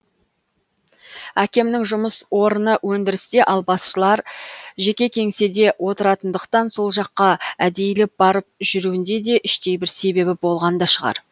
әкемнің жұмыс орыны өндірісте ал басшылар жеке кеңседе отыратындықтан сол жаққа әдейілеп барып жүруінде де іштей бір себебі болған да шығар